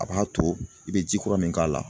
A b'a to i bɛ ji kura min k'a la